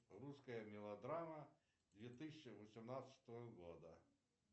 русская мелодрама две тысячи восемнадцатого года